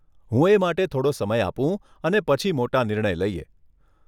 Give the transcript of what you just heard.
હું એ માટે થોડો સમય આપું અને પછી મોટા નિર્ણય લઈએ.